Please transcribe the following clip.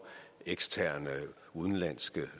eksterne og udenlandske